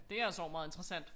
Det altså og meget interessant